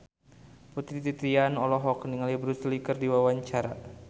Putri Titian olohok ningali Bruce Lee keur diwawancara